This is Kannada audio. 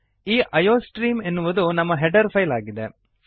ಈ ಐಯೋಸ್ಟ್ರೀಮ್ ಎನ್ನುವುದು ನಮ್ಮ ಹೆಡರ್ ಫೈಲ್ ಆಗಿದೆ